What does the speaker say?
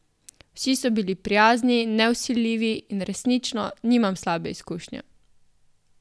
Vsi so bili prijazni, nevsiljivi in resnično nimam slabe izkušnje ...